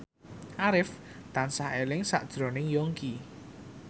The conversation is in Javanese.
Arif tansah eling sakjroning Yongki